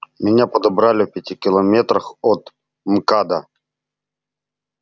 меня подобрали в пяти километрах от мкада